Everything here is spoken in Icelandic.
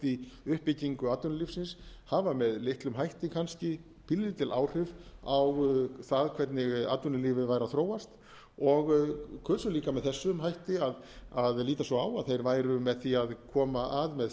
í uppbyggingu atvinnulífsins hafa með litlum hætti kannski pínulítil áhrif á það hvernig atvinnulífið væri að þróast og kusu líka með þessum hætti að líta svo á að þeir væru með því að koma að með sitt eigið